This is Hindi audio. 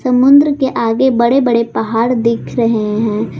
समुद्र के आगे बड़े बड़े पहाड़ दिख रहे हैं।